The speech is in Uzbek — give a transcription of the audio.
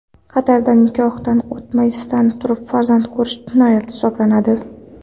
Qatarda nikohdan o‘tmasdan turib farzand ko‘rish jinoyat hisoblanadi.